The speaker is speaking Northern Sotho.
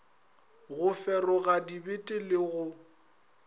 go feroga dibete le go